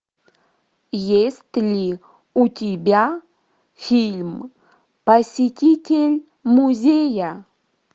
есть ли у тебя фильм посетитель музея